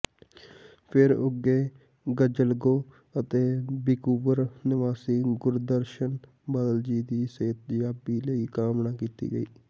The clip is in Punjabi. ਫਿਰ ਉੱਘੇ ਗਜ਼ਲਗੋ ਅਤੇ ਵੈਕੂਵਰ ਨਿਵਾਸੀ ਗੁਰਦਰਸ਼ਨ ਬਾਦਲ ਜੀ ਦੀ ਸਿਹਤਯਾਬੀ ਲਈ ਕਾਮਨਾ ਕੀਤੀ ਗਈ